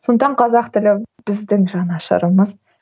сондықтан қазақ тілі біздің жанашырымыз